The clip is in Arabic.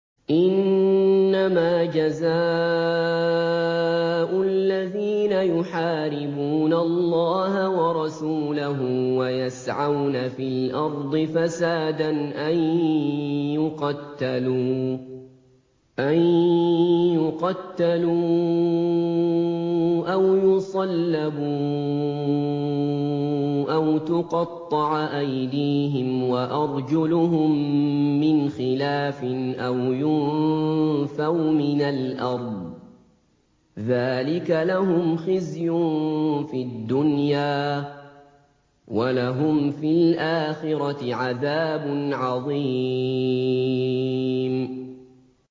إِنَّمَا جَزَاءُ الَّذِينَ يُحَارِبُونَ اللَّهَ وَرَسُولَهُ وَيَسْعَوْنَ فِي الْأَرْضِ فَسَادًا أَن يُقَتَّلُوا أَوْ يُصَلَّبُوا أَوْ تُقَطَّعَ أَيْدِيهِمْ وَأَرْجُلُهُم مِّنْ خِلَافٍ أَوْ يُنفَوْا مِنَ الْأَرْضِ ۚ ذَٰلِكَ لَهُمْ خِزْيٌ فِي الدُّنْيَا ۖ وَلَهُمْ فِي الْآخِرَةِ عَذَابٌ عَظِيمٌ